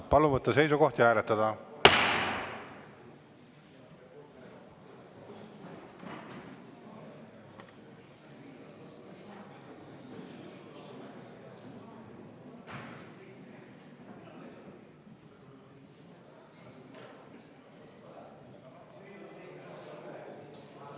Palun võtta seisukoht ja hääletada!